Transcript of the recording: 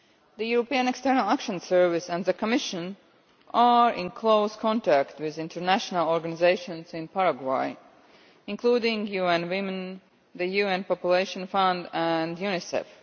The European External Action Service and the Commission are in close contact with international organisations in Paraguay, including UN Women, the UN Population Fund and UNICEF.